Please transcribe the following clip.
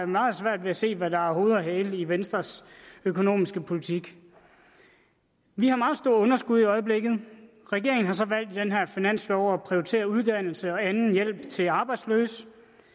meget svært ved at se hvad der er hoved og hale i venstres økonomiske politik vi har meget store underskud i øjeblikket regeringen har så valgt i den her finanslov at prioritere uddannelse og anden hjælp til arbejdsløse